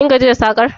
Kin gaji da sakar?